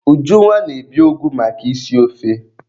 Ujunwa na-ebi ụgụ maka isi ofe.